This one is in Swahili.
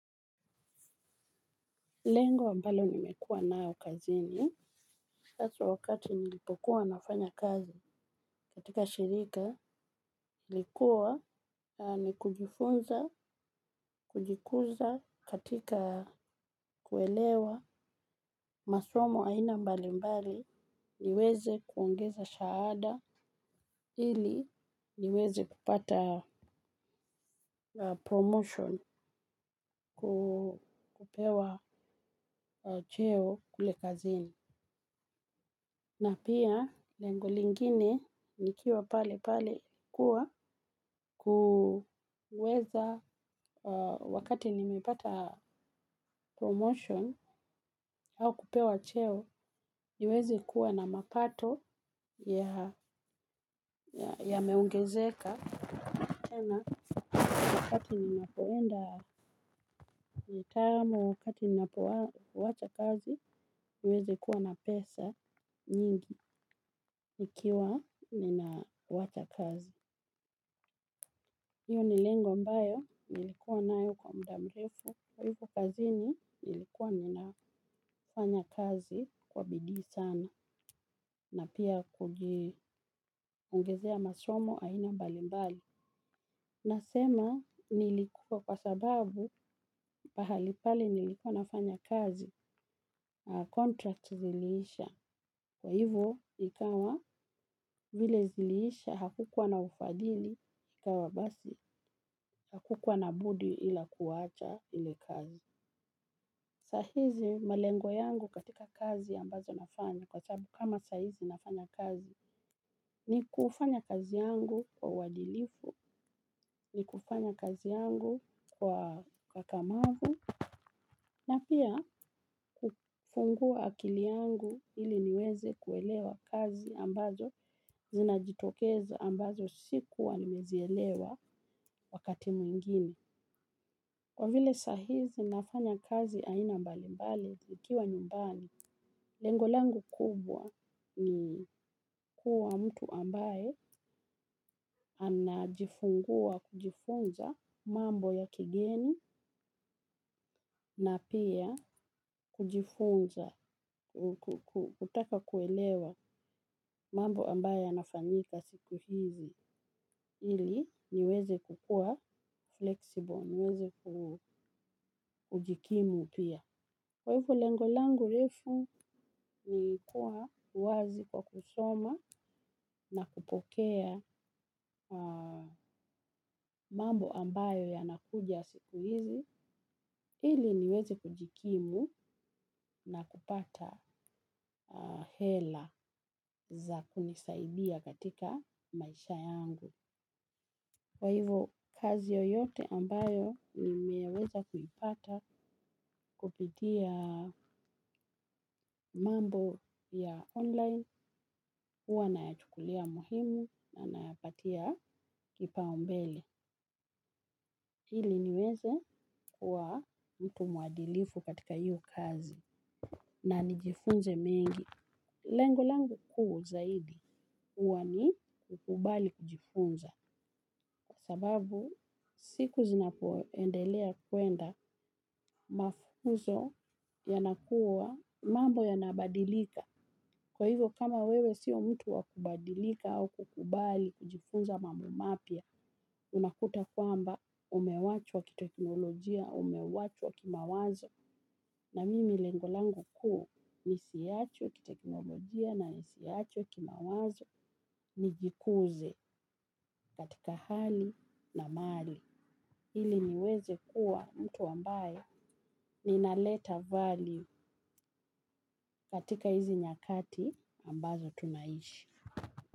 Lengo ambalo nimekuwa nayo kazini. Haswa wakati nilipokuwa nafanya kazi katika shirika. Ilikuwa ni kujifunza, kujikuza katika kuelewa. Masomo aina mbali mbali niweze kuongeza shahada. Ili niweze kupata promotion kupewa cheo kule kazini. Na pia, lengo lingine nikiwa pale pale kuwa kuweza wakati nimepata promotion au kupewa cheo niweze kuwa na mapato ya meongezeka. Tena wakati ninapoenda nitamo, wakati ninapo wacha kazi, niweze kuwa na pesa nyingi nikiwa nina wacha kazi. Hio ni lengo ambayo, nilikuwa nayo kwa mudamrefu. Kwa hivyo kazini, nilikuwa ninafanya kazi kwa bidii sana na pia kuongezea masomo aina mbalimbali. Nasema nilikuwa kwa sababu pahalipale nilikuwa nafanya kazi. Contract ziliisha. Kwa hivo ikawa vile ziliisha hakukuwa na ufadhili, ikawa basi hakukuwa na budi ila kuwacha ile kazi. Sahizi malengo yangu katika kazi ambazo nafanya kwa sababu kama sahizi nafanya kazi ni kufanya kazi yangu kwa uadilifu, ni kufanya kazi yangu kwa ukakamavu, na pia kufungua akili yangu ili niweze kuelewa kazi ambazo zinajitokeza ambazo siku wa nimezielewa wakati mwingine. Kwa vile sahizi nafanya kazi aina mbali mbali zikiwa nyumbani, lengo langu kubwa ni kuwa mtu ambaye anajifungua kujifunza mambo ya kigeni na pia kujifunza kutaka kuelewa mambo ambayo yanafanyika siku hizi ili niweze kukua flexible, niweze kujikimu pia. Kwa hivyo lengolangu refu ni kuwa wazi kwa kusoma na kupokea mambo ambayo yanakuja siku hizi, ili niweze kujikimu na kupata hela za kunisaidia katika maisha yangu. Kwa hivo kazi yoyote ambayo nimeweza kuipata kupitia mambo ya online, huwa na yachukulia muhimu na napatia kipaombele. Ili niweze kuwa mtu muadilifu katika hiyo kazi na nijifunze mengi. Lengolangu kuu zaidi, huwa ni kukubali kujifunza, sababu siku zinapoendelea kwenda mafunzo yanakuwa mambo yanabadilika. Kwa hivyo kama wewe siyo mtu wa kubadilika au kukubali kujifunza mambo mapya, unakuta kwamba umewachwa kiteknolojia, umewachwa kimawazo. Na mimi lengolangu kuu nisiachwe kiteknolojia na nisiachwe ki mawazo nijikuze katika hali na mali. Ili niweze kuwa mtu ambaye ninaleta value katika hizi nyakati ambazo tunaishi.